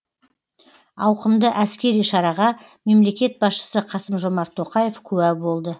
ауқымды әскери шараға мемлекет басшысы қасым жомарт тоқаев куә болды